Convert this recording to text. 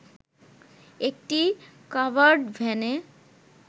একটি কাভার্ড ভ্যানে